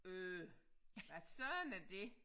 Øh hvad Søren er det